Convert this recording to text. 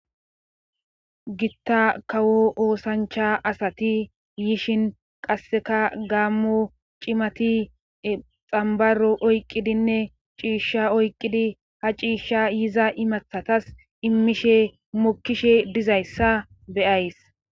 Gita kawo oosancha asati yishin qassekka gaamo cimati xambaro oyqqidinne ciisha oyqqidi ha ciisha yiza imatatas imishe mokishe dizayssa b'ayss.